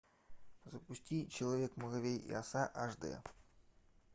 запусти человек муравей и оса аш дэ